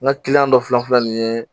N ka dɔ filɛ nin ye